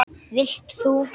Vilt þú?